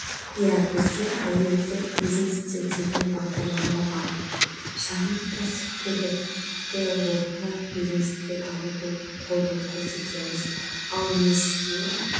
иә бізде әйелдер бизнесте деген бағдарлама бар шағын кәсіпкерлікті орта бизнеске дамытуға қолдау көрсетеміз ал несие